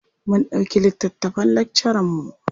Mun ɗauki littattafan lakcaranmu.